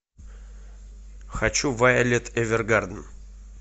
хочу вайолет эвергарден